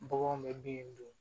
Baganw bɛ bin dun